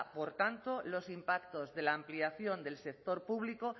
por tanto los impactos de la ampliación del sector público